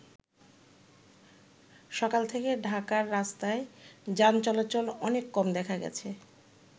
সকাল থেকে ঢাকার রাস্তায় যান চলাচল অনেক কম দেখা গেছে।